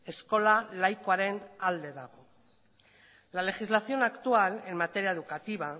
eskola laikoaren alde dago la legislación actual en materia educativa